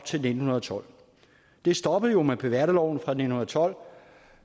til nitten tolv det stoppede jo med beværterloven fra nitten tolv